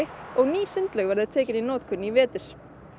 og ný sundlaug verður tekin í notkun í vetur